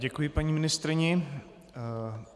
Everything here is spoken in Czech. Děkuji paní ministryni.